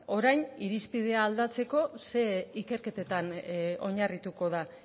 orain irizpidea aldatzeko zer ikerketetan oinarrituko da